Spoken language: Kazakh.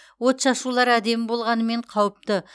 отшашулар әдемі болғанымен қауіпті